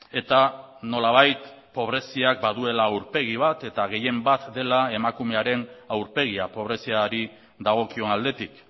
eta nolabait pobreziak baduela aurpegi bat eta gehienbat dela emakumearen aurpegia pobreziari dagokion aldetik